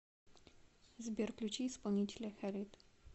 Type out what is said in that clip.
сбер включи исполнителя халид